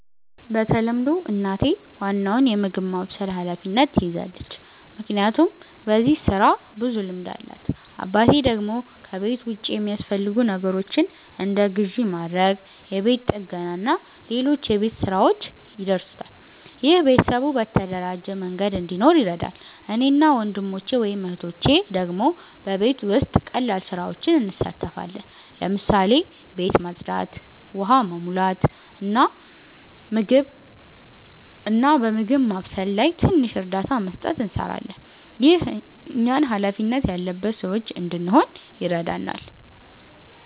በተለምዶ እናቴ ዋናውን የምግብ ማብሰል ኃላፊነት ትይዛለች፣ ምክንያቱም በዚህ ስራ ብዙ ልምድ አላት። አባቴ ደግሞ ከቤት ውጭ የሚያስፈልጉ ነገሮችን እንደ ግዢ ማድረግ፣ የቤት ጥገና እና ሌሎች የቤት ሥራዎች ይደርሳል። ይህ ቤተሰቡ በተደራጀ መንገድ እንዲኖር ይረዳል። እኔ እና ወንድሞቼ/እህቶቼ ደግሞ በቤት ውስጥ ቀላል ስራዎች እንሳተፋለን። ለምሳሌ ቤት ማጽዳት፣ ውሃ መሙላት፣ እና በምግብ ማብሰል ላይ ትንሽ እርዳታ መስጠት እንሰራለን። ይህ እኛን ሃላፊነት ያለበት ሰዎች እንድንሆን ይረዳናል።